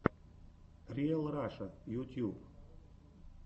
риал раша ютьюб